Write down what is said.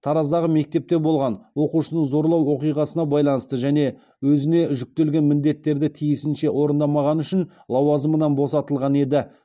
тараздағы мектепте болған оқушыны зорлау оқиғасына байланысты және өзіне жүктелген міндеттерді тиісінше орындамағаны үшін лауазымынан босатылған еді